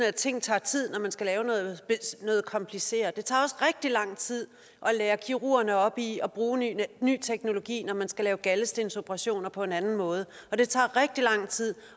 at ting tager tid når man skal lave noget kompliceret det tager også rigtig lang tid at lære kirurgerne op i at bruge ny ny teknologi når man skal lave galdestensoperationer på en anden måde og det tager rigtig lang tid